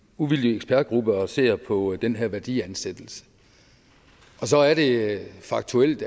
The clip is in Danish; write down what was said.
uvildig ekspertgruppe og ser på den her værdiansættelse og så er det faktuelt